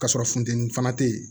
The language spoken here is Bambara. Ka sɔrɔ funteni fana te yen